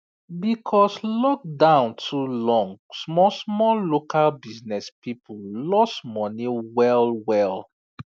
because lockdown too long small small local business people lose money well well